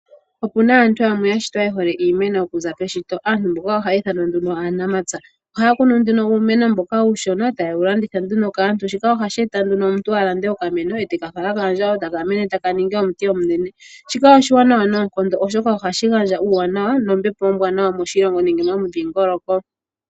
Opuna aantu yamwe yashitwa yehole iimeno oku za keshito, aantu mboka ohaya ithanwa nduno aanamapya, ohaya kunu nduno uumeno uushona, e taye yi landitha nduno kaantu, shika ohashi e ta nduno omuntu a lande okameno, eteka fala kaandjawo, e taka ningi omuti omunene. Shika oshiwanawa noonkondo oshoka ohashi gandja uuwanawa nombepo ombwaanawa moshilongo nenge momudhingoloko.